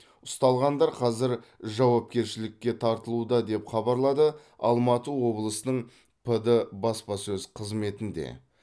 ұсталғандар қазір жауапкершілікке тартылуда деп хабарлады алматы облысының пд баспасөз қызметінде